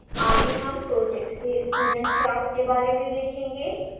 आगे हम project के student class के बारे में देखेंगे